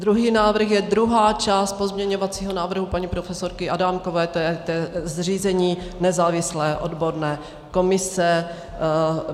Druhý návrh je druhá část pozměňovacího návrhu paní profesorky Adámkové, to je zřízení nezávislé odborné komise.